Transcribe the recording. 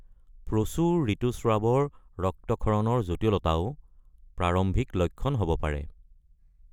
প্ৰচুৰ ঋতুস্ৰাৱৰ ৰক্তক্ষৰণৰ জটিলতাও প্ৰাৰম্ভিক লক্ষণ হ'ব পাৰে।